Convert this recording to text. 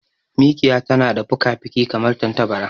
Mikiya tana da fukafuki kamar tantabara.